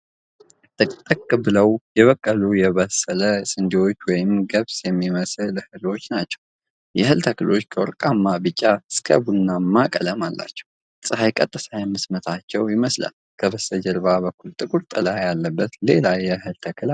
ጥቅጥቅ ብለው የበቀሉ የበሰሉ ስንዴዎች ወይም ገብስ የሚመስሉ እህሎች ናቸው። የእህል ተክሎቹ ከወርቃማ ቢጫ እስከ ቡናማ ቀለም አላቸው፣ ፀሐይ ቀጥታ የምትመታቸው ይመስላል። ከበስተጀርባ በኩል ጥቁር ጥላ ያለበት ሌላ የእህል ተክል አለ።